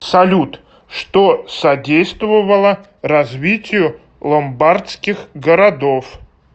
салют что содействовало развитию ломбардских городов